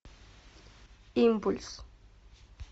импульс